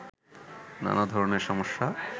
নানা ধরনের সমস্যা